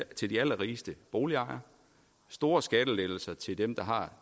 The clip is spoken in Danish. til de allerrigeste boligejere store skattelettelser til dem der har